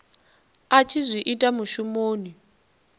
a tshi zwi ita mushumoni